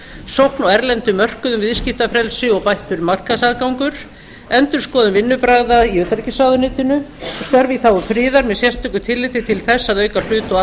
sókn á erlendum mörkuðum viðskiptafrelsi og bættan markaðsaðgang endurskoðun vinnubragða í utanríkisráðuneytinu störf í þágu friðar með sérstöku tilliti til þess að auka hlut og